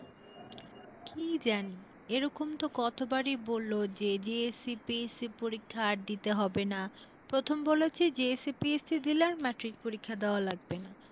কি জানি? এরকম তো কতবারই বললো যে GSC, PSC পরীক্ষা আর দিতে হবে না, প্রথমে বলল যে GSC, PSC দিলে আর ম্যাট্রিক পরীক্ষা দেওয়া লাগবে না।